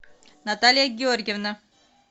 наталья георгиевна